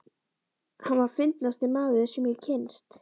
Hann var fyndnasti maður, sem ég hafði kynnst.